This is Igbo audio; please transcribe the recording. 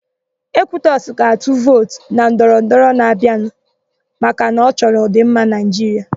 Ekwutọsị ga-atụ vootu na ndọrọndọrọ na-abịa maka na ọ chọrọ ọ̀dị̀mma Naịjiria.